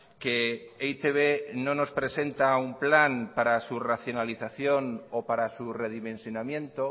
que e i te be no nos presenta un plan para su racionalización o para su redimensionamiento